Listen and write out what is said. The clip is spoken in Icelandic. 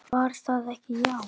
Var það ekki, já!